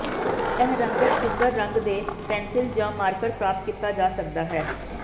ਇਹ ਰੰਗਤ ਸੁੰਦਰ ਰੰਗ ਦੇ ਪੈਨਸਿਲ ਜ ਮਾਰਕਰ ਪ੍ਰਾਪਤ ਕੀਤਾ ਜਾ ਸਕਦਾ ਹੈ